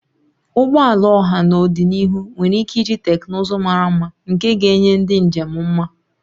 Ụgbọ ala ọha n'ọdịniihu nwere ike iji teknụzụ mara mma nke ga-enye ndị njem mma